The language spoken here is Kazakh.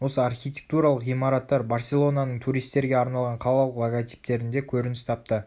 осы архитектуралық ғимараттар барселонаның туристерге арналған қалалық логотиптерінде көрініс тапты